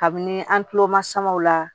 Kabini an tulo masumaw la